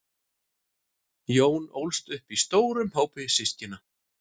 jón ólst upp í stórum hópi systkina